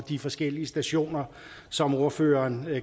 de forskellige situationer som ordføreren